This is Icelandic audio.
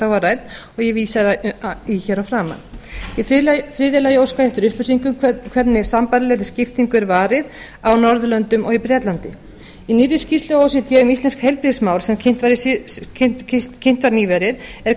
var rædd og ég vísaði í hér að framan í þriðja lagi óska ég eftir upplýsingum um hvernig sambærilegri skiptingu er varið á norðurlöndum og á bretlandi í nýrri skýrslu o e c d um íslensk heilbrigðismál sem kynnt var nýverið er